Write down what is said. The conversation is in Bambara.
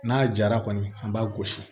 N'a jara kɔni an b'a gosi